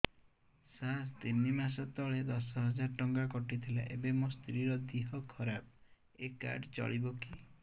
ସାର ତିନି ମାସ ତଳେ ଦଶ ହଜାର ଟଙ୍କା କଟି ଥିଲା ଏବେ ମୋ ସ୍ତ୍ରୀ ର ଦିହ ଖରାପ ଏ କାର୍ଡ ଚଳିବକି